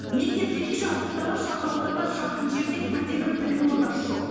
мектеп демекші алтын дала шағынауданына жақын жерде бірде бір білім ордасы жоқ